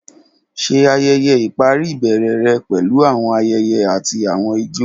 Ṣe ayẹyẹ ipari ibẹrẹ rẹ pẹlu awọn ayẹyẹ ati awọn ijó.